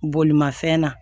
Bolimafɛn na